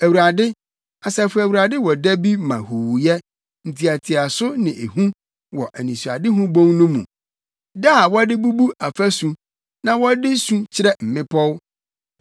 Awurade, Asafo Awurade wɔ da bi ma huuyɛ, ntiatiaso ne ehu wɔ Anisoadehu Bon no mu, da a wɔde bubu afasu na wɔde su kyerɛ mmepɔw.